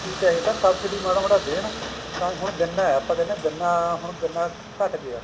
ਕੀ ਚਾਹੀਦਾ ਸਬਸਿਡੀ ਮਾੜਾ ਮੋਟਾ ਦੇਣ ਹੁਣ ਗੰਨਾ ਹੈ ਆਪਾਂ ਕਹਿੰਦੇ ਆ ਗੰਨਾ ਘੱਟ ਗਿਆ